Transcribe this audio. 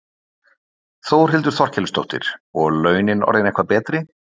Þórhildur Þorkelsdóttir: Og launin orðin eitthvað betri?